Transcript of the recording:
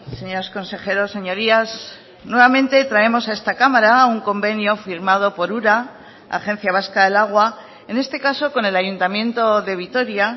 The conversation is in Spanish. señores consejeros señorías nuevamente traemos a esta cámara un convenio firmado por ura agencia vasca del agua en este caso con el ayuntamiento de vitoria